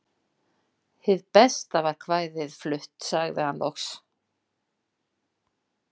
Hið besta var kvæðið flutt, sagði hann loks.